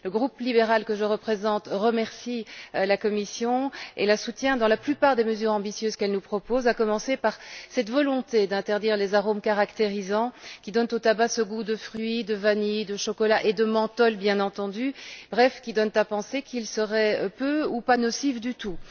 Le groupe libéral, que je représente, remercie la Commission et la soutient dans la plupart des mesures ambitieuses qu'elle nous propose, à commencer par cette volonté d'interdire les arômes caractérisants qui donnent au tabac ce goût de fruit, de vanille, de chocolat et de menthol bien entendu, bref, qui donnent à penser qu'il serait peu ou pas nocif du tout.